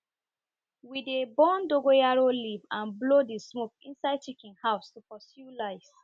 we dey burn dogoyaro leaf and blow the smoke inside chicken house to pursue lice